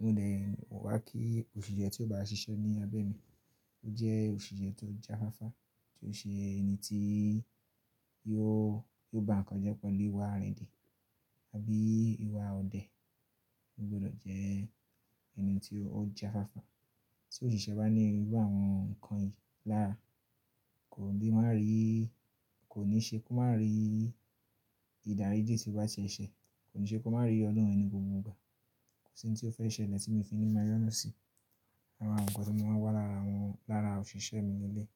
Modẹ̀, mo wá kí òṣìṣẹ́ tí ó bá ṣiṣẹ́ ní abẹ́ mi ó jẹ́ òṣìṣẹ́ tó jáfáfá, tí ó ṣe ẹni tí yóò, yóò bá nǹkan jẹ́ pẹ̀lú ìwà arindi àbí ìwà ọ̀dẹ. Ó gbọdọ̀ jẹ́ ẹni tí ó jáfáfá. Tí òṣìṣẹ́ bá ní irú àwọn nǹkan yìí lára kò le maá rí, kò ní ṣe kó máa rí ìdàríji tí ó bá ṣe eṣẹ́, kò ní ṣe kó máa rí ìyọnu mi ni gbogbo igba Kò sí oun tí ó fẹ́ ṣẹlẹ̀ tí mi o fi ní máa yonù sí. Ara àwọn nǹkan tí mo máa ń wá lára awọn, lára òṣìṣẹ́ mi ni eléyìí.